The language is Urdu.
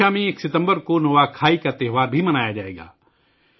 اوڈیشہ میں یکم ستمبر کو نوا کھائی کا تہوار بھی منایا جائے گا